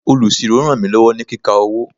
Olusiro ràn mí lọ́wọ́ ní kíka owó.